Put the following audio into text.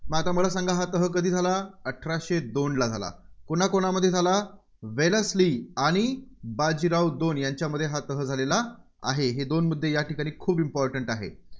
मग आता मला सांगा हा तह कधी झाला? अठराशे दोनला झाला. कोणकोणामध्ये झाला वेलस्ली आणि बाजीराव दोन यांच्यामध्ये हा तह झालेला आहे. हे दोन मुद्दे या ठिकाणी खूप important आहे.